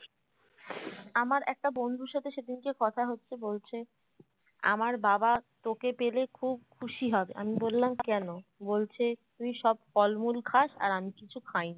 আমার একটা বন্ধুর সাথে সেদিনকে কথা হচ্ছে বলছে আমার বাবা তোকে পেলে খুব খুশি হবে আমি বললাম কেন বলছে তুই সব ফলমূল খাস আর আমি কিছু খাই না